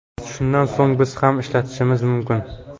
Shundan so‘ng biz ham ishlatishimiz mumkin.